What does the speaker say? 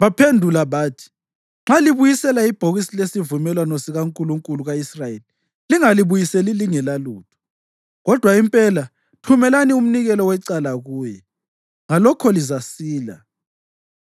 Baphendula bathi, “Nxa libuyisela ibhokisi lesivumelwano sikankulunkulu ka-Israyeli, lingalibuyiseli lingelalutho, kodwa impela thumelani umnikelo wecala kuye. Ngalokho lizasila,